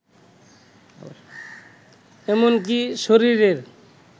এমনকী শরীরের